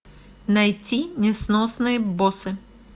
найти несносные боссы